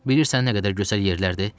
Bilirsən nə qədər gözəl yerlərdi?